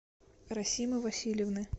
расимы васильевны